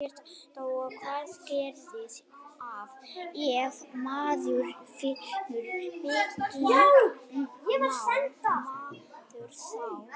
Birta: Og hvað gerist ef maður finnur byggingu, má maður þá